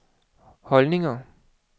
holdninger